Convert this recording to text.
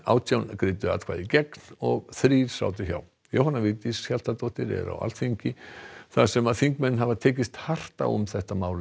átján greiddu atkvæði gegn og þrír sátu hjá Jóhanna Vigdís Hjaltadóttir er á Alþingi þar sem þingmenn hafa tekist hart á um þetta mál